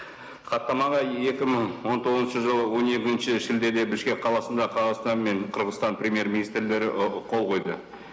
хаттаманы екі мың он тоғызыншы жылы он екінші шілдеде бішкек қаласында қазақстан мен қырғызстан премьер министрлері ы қол қойды